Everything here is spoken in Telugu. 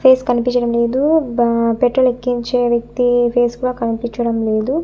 ఫేస్ కనిపించడం లేదు బా పెట్రోల్ ఎక్కించే వ్యక్తి ఫేస్ కూడా కనిపించడం లేదు.